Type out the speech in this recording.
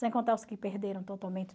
Sem contar os que perderam totalmente.